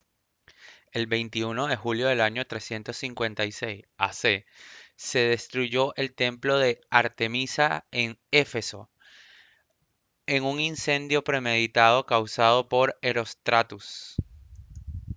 el 21 de julio del año 356 a c se destruyó el templo de artemisa en éfeso en un incendio premeditado causado por herostratus